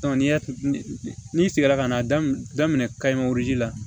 n'i y'a n'i seginna ka na daminɛ la